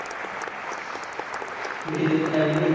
বিদ্যুত কে নামিয়েন দিবি?